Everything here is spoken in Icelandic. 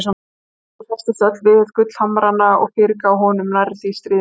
Steingerður hresstist öll við gullhamrana og fyrirgaf honum nærri því stríðnina.